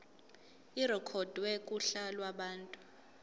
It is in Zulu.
irekhodwe kuhla lwabantu